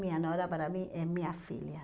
Minha nora, para mim, é minha filha.